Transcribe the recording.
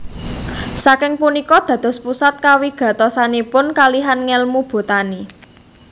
Saking punika dados pusat kawigatosanipun kalihan ngèlmu botani